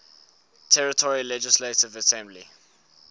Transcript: territory legislative assembly